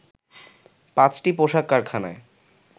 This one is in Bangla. ৫টি পোশাক কারখানায়